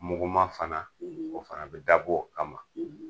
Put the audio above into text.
Muguma fana, o fana bɛ dab'o kama.